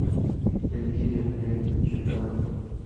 эльвире олеговне червяковой